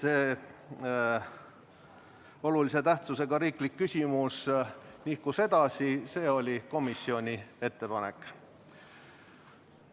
See põhjus, et olulise tähtsusega riikliku küsimuse arutelu nihkus edasi, oli komisjoni ettepanek.